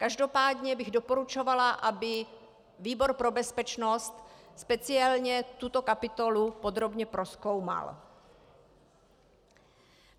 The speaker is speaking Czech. Každopádně bych doporučovala, aby výbor pro bezpečnost speciálně tuto kapitolu podrobně prozkoumal.